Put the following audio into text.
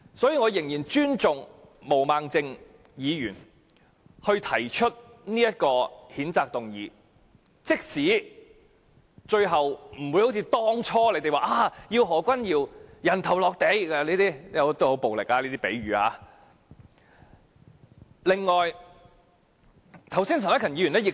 所以，我仍然尊重毛孟靜議員提出這項譴責議案，即使最後不會一如當初所預期，要讓何君堯議員像那個很暴力的比喻一般人頭落地。